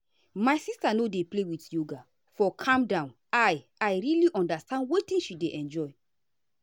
my sister no dey play with yoga for calm now i i really understand wetin she dey enjoy.